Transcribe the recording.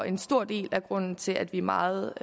en stor del af grunden til at vi er meget